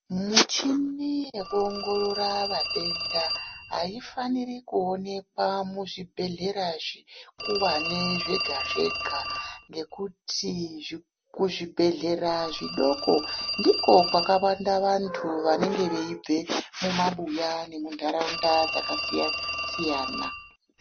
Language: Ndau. Muchini yekuongorora vatenda aifaniri kuonekwa muzvibhehleya zveuwane zvega zvega ngekuti kuzvibhehleya zvidoko doko ndiko kwakawanda vantu vanenge veibva mumabuya nemundaraunda dzakasiyana siyana.